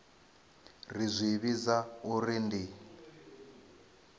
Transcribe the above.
ri zwi vhidza uri ndi